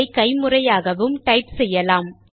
இதை கைமுறையாகவும் டைப் செய்யலாம்